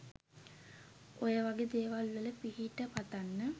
ඔයවගෙ දෙවල් වල පිහිට පතන්න